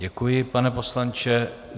Děkuji, pane poslanče.